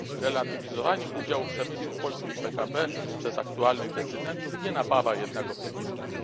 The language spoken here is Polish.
Relatywizowanie udziału przemysłu w polskim PKB przez aktualnych decydentów nie napawa jednak optymizmem.